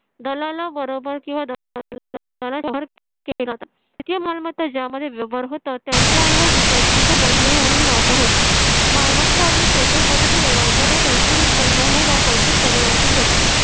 दलालाबरोबर किंवा तृतीय मालमत्ता ज्यामध्ये होतात त्यांच्या ऐवजी पैशाचा बदली म्हणून वापर होतो. मालमत्ता अगदी सोप्या पद्धतीने लोकांना कोणतेही नुकसान न होता पैसे परिवर्तीत होतात,